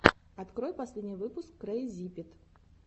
открой последний выпуск крэйзипит